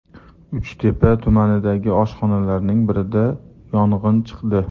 Uchtepa tumanidagi oshxonalarning birida yong‘in chiqdi .